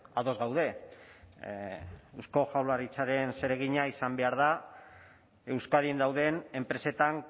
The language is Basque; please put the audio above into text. ados gaude eusko jaurlaritzaren zeregina izan behar da euskadin dauden enpresetan